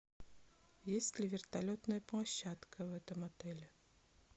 есть ли вертолетная площадка в этом отеле